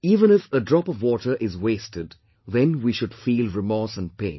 Even if a drop of water is wasted, then we should feel remorse and pain